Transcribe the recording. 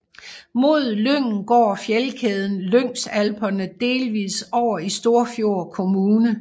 Mod Lyngen går fjeldkæden Lyngsalperne delvis over i Storfjord kommune